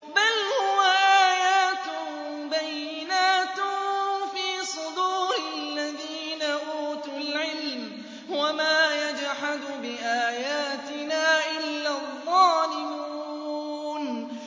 بَلْ هُوَ آيَاتٌ بَيِّنَاتٌ فِي صُدُورِ الَّذِينَ أُوتُوا الْعِلْمَ ۚ وَمَا يَجْحَدُ بِآيَاتِنَا إِلَّا الظَّالِمُونَ